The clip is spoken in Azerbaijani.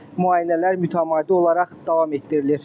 Müayinələr mütəmadi olaraq davam etdirilir.